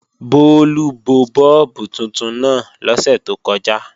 Bólú bọ bọ́ọ̀bù tuntun náà lọ́sẹ̀ tó kọjá